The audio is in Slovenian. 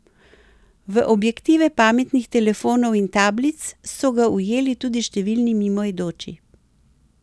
V objektive pametnih telefonov in tablic so ga ujeli tudi številni mimoidoči.